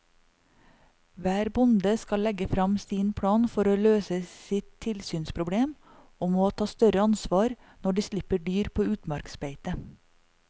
Hver bonde skal legge frem sin plan for å løse sitt tilsynsproblem og må ta større ansvar når de slipper dyr på utmarksbeite.